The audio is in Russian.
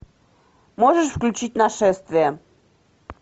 можешь включить нашествие